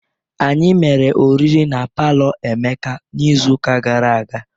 Anyị mere oriri na palọ Emeka n'izu ụka gara aga.